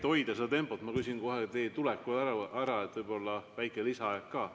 Et hoida tempot, küsin ma kohe teie tuleku ajal ära, et võib-olla väike lisaaeg ka.